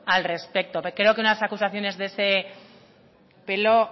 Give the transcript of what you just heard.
al respecto pero creo que unas acusaciones de ese pelo